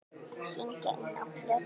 Syngja inná plötu.